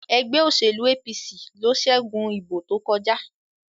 ègbé òṣèlú APC ló ṣẹgun ìbò tó kọjá